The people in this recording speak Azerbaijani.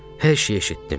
Hər şeyi eşitdim.